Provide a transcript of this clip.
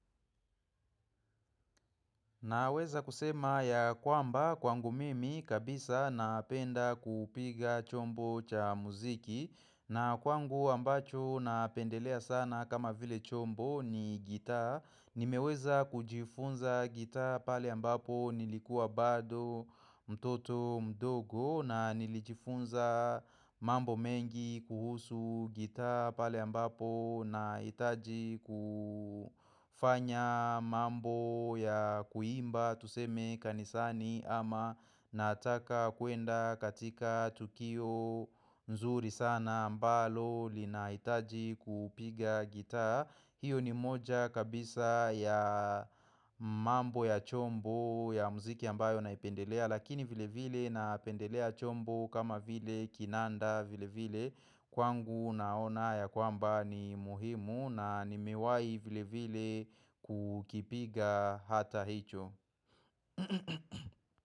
Naweza kusema ya kwamba kwangu mimi kabisa napenda kupiga chombo cha muziki na kwangu ambacho napendelea sana kama vile chombo ni gita Nimeweza kujifunza gita pale ambapo nilikua bado mtoto mdogo na nilijifunza mambo mengi kuhusu gita pale ambapo na hitaji kufanya mambo ya kuimba tuseme kanisani ama nataka kuenda katika tukio. Nzuri sana ambalo lina hitaji kupiga gita hiyo ni moja kabisa ya mambo ya chombo ya mziki ambayo naipendelea lakini vile vile na pendelea chombo kama vile kinanda vile vile kwangu naona ya kwamba ni muhimu na nimewahi vile vile kukipiga hata hicho.